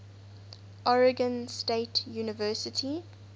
oregon state university